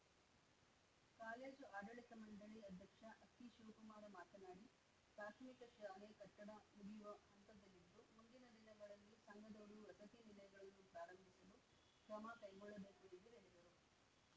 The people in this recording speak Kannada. ಕಾಲೇಜು ಆಡಳಿತ ಮಂಡಳಿ ಅಧ್ಯಕ್ಷ ಅಕ್ಕಿ ಶಿವಕುಮಾರ ಮಾತನಾಡಿ ಪ್ರಾಥಮಿಕ ಶಾಲೆ ಕಟ್ಟಡ ಮುಗಿಯುವ ಹಂತದಲ್ಲಿದ್ದು ಮುಂದಿನ ದಿನಗಳಲ್ಲಿ ಸಂಘದವರು ವಸತಿ ನಿಲಯಗಳನ್ನು ಪ್ರಾರಂಭಿಸಲು ಕ್ರಮ ಕೈಗೊಳ್ಳಬೇಕು ಎಂದು ಹೇಳಿದರು